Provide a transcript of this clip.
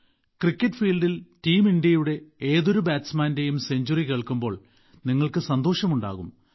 cricket ഫീൽഡിൽ team ഇന്ത്യയുടെ ഏതൊരു ബാറ്റ്സമാന്റെയും സെഞ്ച്വറി കേൾക്കുമ്പോൾ നിങ്ങൾക്ക് സന്തോഷമുണ്ടാകും